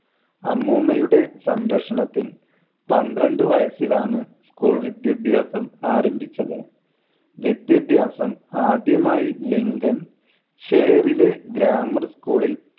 അമ്മൂമ്മയുടെ സംരക്ഷണത്തിൽ പന്ത്രണ്ട് വയസ്സിലാണ് school വിദ്യാഭ്യാസം ആരംഭിച്ചത്. വിദ്യാഭ്യാസം ആദ്യമായി ലിങ്കൻ ഷെയറിലെ grammar school ൽ